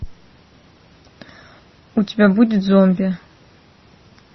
у тебя будет зомби